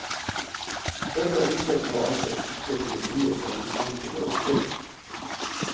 Dette ønsket så altså ikke politiet seg i stand til å oppfylle.